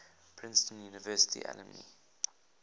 princeton university alumni